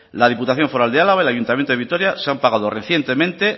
la diputación foral de álava el ayuntamiento de vitoria se han pagado recientemente